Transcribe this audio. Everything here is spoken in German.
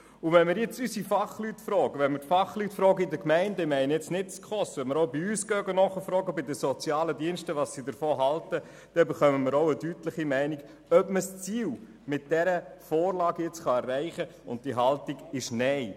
Wenn wir unsere Fachleute bei den Sozialdiensten in den Gemeinden fragen – ich meine jetzt nicht die SKOS –, dann erhalten wir eine deutliche Meinung, ob man das Ziel mit dieser Vorlage erreichen kann, und die Antwort ist Nein.